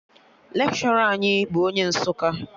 Lekshọra anyị bụ onye Nsụka